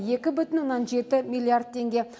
екі бүтін оннан жеті миллиард теңге